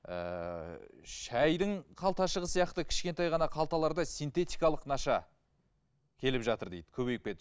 ыыы шайдың қалташығы сияқты кішкентай ғана қалталарда синтетикалық наша келіп жатыр дейді көбейіп